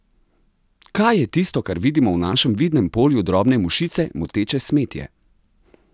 Kaj je tisto, kar vidimo v našem vidnem polju drobne mušice, moteče smetje?